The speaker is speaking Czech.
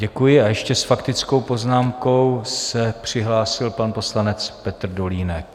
Děkuji a ještě s faktickou poznámkou se přihlásil pan poslanec Petr Dolínek.